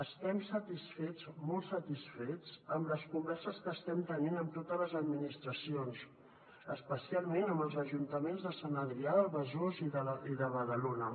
estem satisfets molt satisfets amb les converses que estem tenint amb totes les administracions especialment amb els ajuntaments de sant adrià de besòs i de badalona